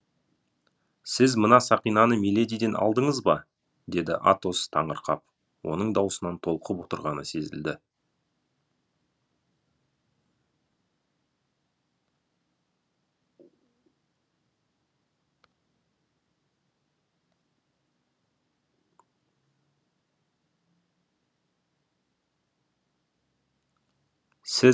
сіз мына сақинаны миледиден алдыңыз ба деді атос таңырқап оның даусынан толқып отырғаны сезілді